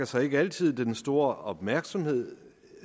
sig ikke altid den store opmærksomhed